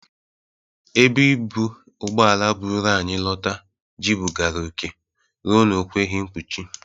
Ebe ibụ ụgbọala bụru anyị lọta jụbịgara oke rue na o kweghi mpuchi.